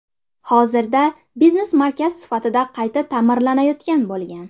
Hozirda biznes markaz sifatida qayta ta’mirlanayotgan bo‘lgan.